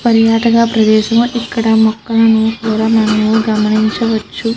పర్యాటక ప్రదేశము ఇక్కడ మొక్కలను కూడా మనము గమనించవచ్చు.